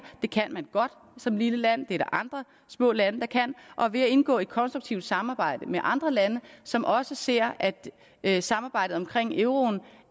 det kan man godt som et lille land og der andre små lande der kan ved at indgå i et konstruktivt samarbejde med andre lande som også ser at samarbejdet omkring euroen